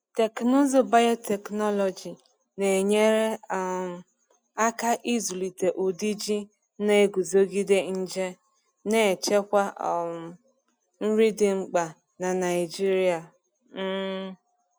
Teknụzụ biotechnology na-enyere um aka ịzụlite ụdị ji na-eguzogide nje, na-echekwa um nri dị mkpa n’Naijiria. um